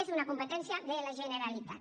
és una competència de la generalitat